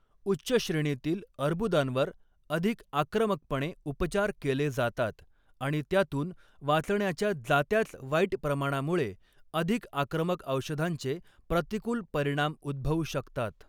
उच्च श्रेणीतील अर्बुदांवर अधिक आक्रमकपणे उपचार केले जातात आणि त्यातून वाचण्याच्या जात्याच वाईट प्रमाणामुळे अधिक आक्रमक औषधांचे प्रतिकूल परिणाम उद्भवू शकतात.